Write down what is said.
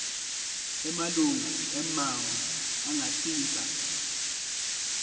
emalunga emmango angatsintsa